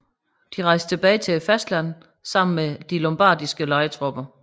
De rejste tilbage til fastlandet sammen med de lombardiske lejetropper